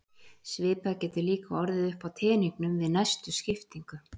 Svipað getur líka orðið upp á teningnum við næstu skiptingu.